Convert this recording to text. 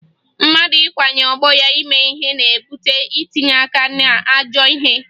Mmadụ ikwanye ọgbọ ya ime ihe na-ebute itinye aka n'ajọ ihe